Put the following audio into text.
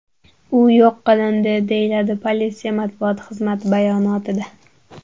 U yo‘q qilindi”, deyiladi politsiya matbuot xizmati bayonotida.